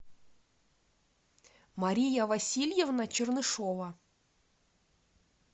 мария васильевна чернышова